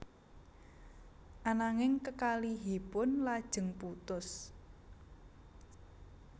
Ananging kekalihipun lajeng putus